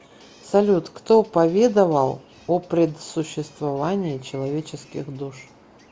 салют кто поведовал о предсуществовании человеческих душ